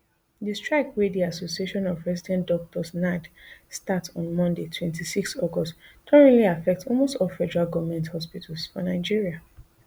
di strike wey di association of resident doctors nard start on monday twenty-six august don really affect almost all federal goment hospitals for nigeria